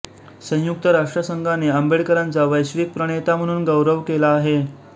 संयुक्त राष्ट्रसंघाने आंबेडकरांचा वैश्विक प्रणेता म्हणून गौरव केला आहे